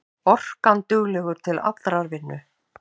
Orkanduglegur til allrar vinnu.